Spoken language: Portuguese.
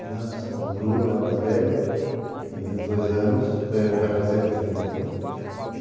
Os netos são o Bruno, é o mais velho, tem vinte e dois anos, vai fazer vinte e dois anos.